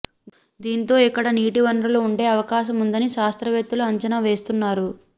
దీంతో ఇక్కడ నీటి వనరులు ఉండే అవకాశముందని శాస్త్రవేత్తలు అంచనా వేస్తున్నారు